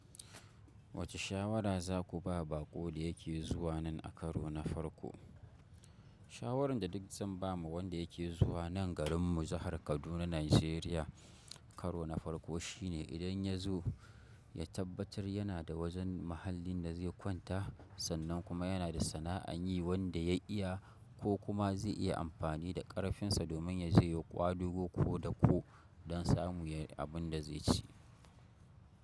Wace shawara za ku ba baƙo da yake zuwa nan a karo na farko? Shawaran da duk zan ba wa wanda yake zuwa nan garin mu jahar Kaduna Nigeria karo na farko shine idan ya zo ya tabbatar yana da wajen mahallin da zai kwata sannan kuma yana da sana'an yi wanda ya iya ko kuma zai iya amfani da ƙarfinsa domin ya je ya ƙwadago ko da ko don samu yayi abin da zai ci.